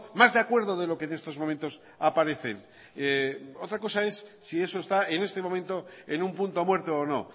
más de acuerdo de lo que en estos momentos aparecen otra cosa es si eso está en este momento en un punto muerto o no